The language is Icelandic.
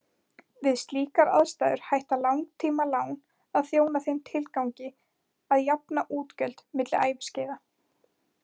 Við slíkar aðstæður hætta langtímalán að þjóna þeim tilgangi að jafna útgjöld milli æviskeiða.